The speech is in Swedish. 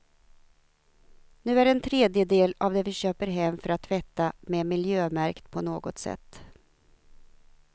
Nu är en tredjedel av det vi köper hem för att tvätta med miljömärkt på något sätt.